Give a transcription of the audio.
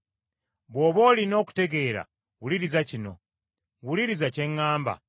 “Bw’oba olina okutegeera, wuliriza kino; wuliriza kye ŋŋamba.